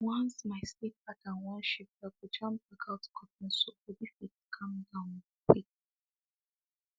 once my sleep pattern wan shift i go jam blackout curtain so body fit calm down quick